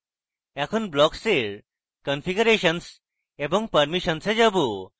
এখন blocks এর configurations এবং permissions we যাবো